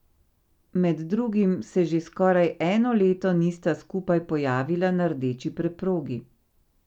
Med drugim se že skoraj eno leto nista skupaj pojavila na rdeči preprogi.